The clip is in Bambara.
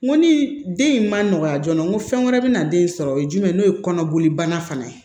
N ko ni den in man nɔgɔya joona n ko fɛn wɛrɛ bɛ na den sɔrɔ o ye jumɛn n'o ye kɔnɔboli banna fana ye